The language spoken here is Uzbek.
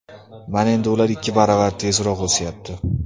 Mana endi ular ikki baravar tezroq o‘syapti”.